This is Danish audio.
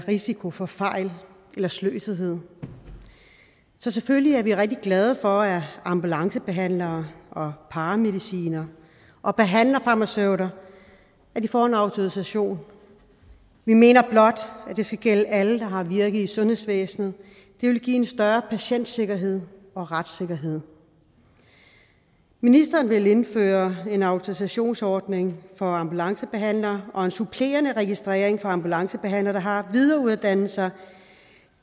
risiko for fejl eller sløsethed så selvfølgelig er vi rigtig glade for at ambulancebehandlere paramedicinere og behandlerfarmaceuter får en autorisation vi mener blot at det skal gælde alle der har virke i sundhedsvæsenet det vil give en større patientsikkerhed og retssikkerhed ministeren vil indføre en autorisationsordning for ambulancebehandlere og en supplerende registrering for ambulancebehandlere der har videreuddannelse